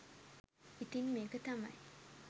ඉතින් මේක තමයි